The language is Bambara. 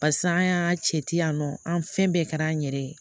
Pasi an y'a cɛ ci yan nɔ an fɛn bɛɛ kɛra an yɛrɛ ye